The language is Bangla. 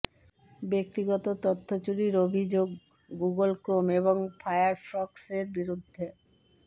ব্যক্তিগত তথ্য চুরির অভিযোগ গুগল ক্রোম এবং ফায়ারফক্সের বিরুদ্ধে